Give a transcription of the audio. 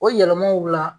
O yɛlɛmaw la